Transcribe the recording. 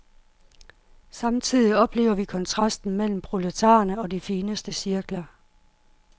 Samtidig oplever vi kontrasten mellem proletarerne og de fineste cirkler.